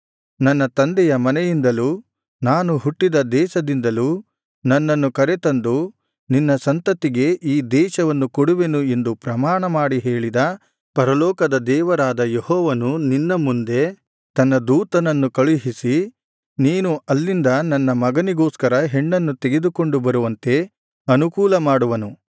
ನನ್ನ ತಂದೆಯ ಮನೆಯಿಂದಲೂ ನಾನು ಹುಟ್ಟಿದ ದೇಶದಿಂದಲೂ ನನ್ನನ್ನು ಕರತಂದು ನಿನ್ನ ಸಂತತಿಗೆ ಈ ದೇಶವನ್ನು ಕೊಡುವೆನು ಎಂದು ಪ್ರಮಾಣಮಾಡಿ ಹೇಳಿದ ಪರಲೋಕದ ದೇವರಾದ ಯೆಹೋವನು ನಿನ್ನ ಮುಂದೆ ತನ್ನ ದೂತನನ್ನು ಕಳುಹಿಸಿ ನೀನು ಅಲ್ಲಿಂದ ನನ್ನ ಮಗನಿಗೋಸ್ಕರ ಹೆಣ್ಣನ್ನು ತೆಗೆದುಕೊಂಡು ಬರುವಂತೆ ಅನುಕೂಲಮಾಡುವನು